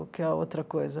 O que é outra coisa.